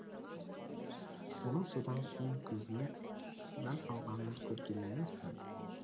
оның содан кейін көзіне жас алғанын көрген емеспін